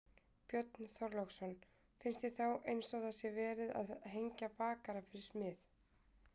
Björn Þorláksson: Finnst þér þá eins og það sé verið að hengja bakara fyrir smið?